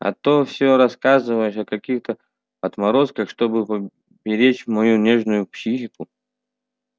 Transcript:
а то всё рассказываешь о каких-то отморозках чтобы поберечь мою нежную психику